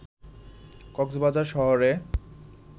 কক্সবাজার শহরে